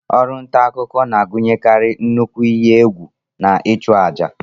Ọrụ nta akụkọ na-agụnyekarị nnukwu ihe egwù na ịchụ àjà.